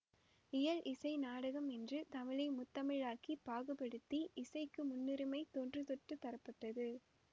இயல் இசை நாடகம் என்று தமிழை முத்தமிழாகப் பாகுபடுத்தி இசைக்கு முன்னுரிமை தொன்று தொட்டு தரப்பட்டது